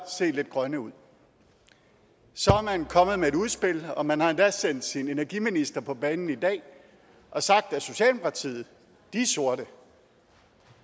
se lidt grønne ud så er man kommet med et udspil og man har endda sendt sin energiminister på banen i dag og sagt at socialdemokratiet er sorte